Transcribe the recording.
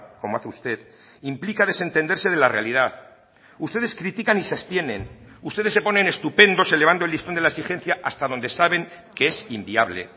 como hace usted implica desentenderse de la realidad ustedes critican y se abstienen ustedes se ponen estupendos elevando el listón de la exigencia hasta donde saben que es inviable